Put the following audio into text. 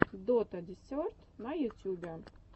дота десерт на ютюбе